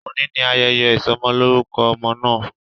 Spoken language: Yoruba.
Oni ni ayẹyẹ isọmọlorukọ ọmọ naa.